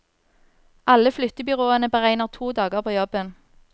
Alle flyttebyråene beregner to dager på jobben.